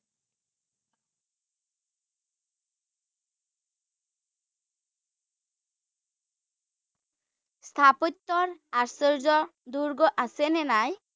স্থাপত্যৰ আচৰ্য দুৰ্গ আছে নে নাই?